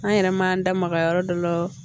An yɛrɛ man da maga yɔrɔ dɔ la